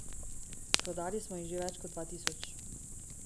Prodali smo jih že več kot dva tisoč.